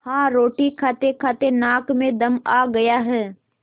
हाँ रोटी खातेखाते नाक में दम आ गया है